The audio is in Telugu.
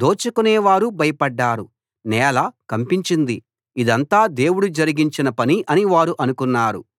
దోచుకొనేవారూ భయపడ్డారు నేల కంపించింది ఇదంతా దేవుడు జరిగించిన పని అని వారు అనుకున్నారు